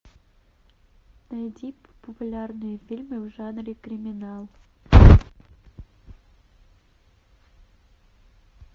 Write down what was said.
найди популярные фильмы в жанре криминал